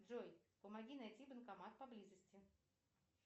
джой помоги найти банкомат поблизости